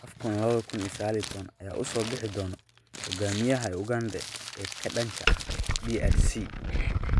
AFCON 2019: Yaa u soo bixi doona hogaamiyaha Uganda ee ka dhanka ah DRC?